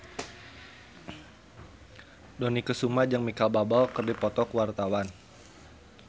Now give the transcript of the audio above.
Dony Kesuma jeung Micheal Bubble keur dipoto ku wartawan